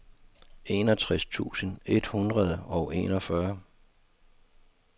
enogtres tusind et hundrede og enogfyrre